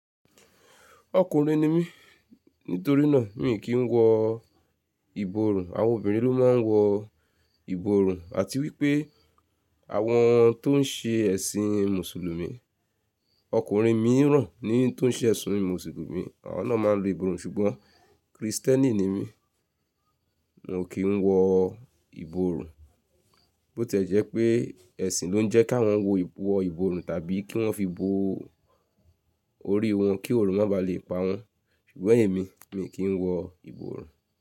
Ọkùnrin ni mí, nítorí náà mi kì í wọ ìborùn, àwọn obìnrin ló máa ń wọ ìborùn àti wípé àwọn tó ń ṣe ẹ̀sìn Mùsùlùmí. Ọkùnrin mìíràn ni tó ń ṣe ẹ̀sìn Mùsùlùmí, àwọn náà máa ń lu ìborùn ṣùgbọ́n Krìstẹ́nì ni mí, mo kì n wọ ìborùn. Bó tẹ́ jẹ́ pé ẹ̀sìn ló ń jẹ́ kí awọ́n wọ ìborùn tàbí kí wọ́n fi bo orí wọn kí òrùn má bàá le pa wọ́n, ṣùgbọ́n èmi, mi kì í wọ ìborùn.